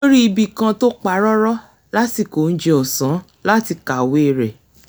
ó rí ibì kan tó pa rọ́rọ́ lásìkò oúnjẹ ọ̀sán láti kàwé rẹ̀